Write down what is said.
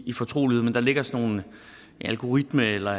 i fortrolighed men der ligger sådan nogle algoritmer eller